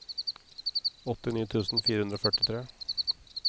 åttini tusen fire hundre og førtitre